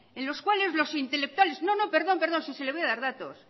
en los cuales los intelectuales no no perdón perdón si le voy a dar datos